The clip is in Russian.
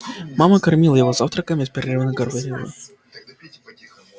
мама кормила его завтраком и беспрерывно говорила